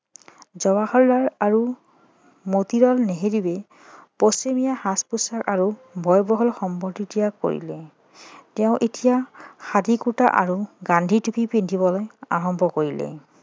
জৱাহৰলাল আৰু মতিলাল নেহেৰুৱে পশ্চিমীয়া সাজ পোছাক আৰু ব্যয়বহুল সম্পত্তি ত্যাগ কৰিলে তেওঁ এতিয়া খাদী কুৰ্তা আৰু গান্ধীটুপি পিন্ধিবলৈ আৰম্ভ কৰিলে